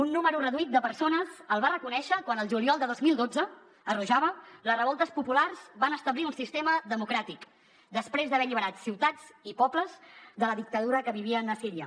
un nombre reduït de persones el va reconèixer quan el juliol de dos mil dotze a rojava les revoltes populars van establir un sistema democràtic després d’haver alliberat ciutats i pobles de la dictadura que vivien a síria